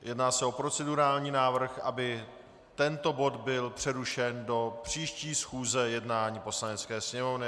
Jedná se o procedurální návrh, aby tento bod byl přerušen do příští schůze jednání Poslanecké sněmovny.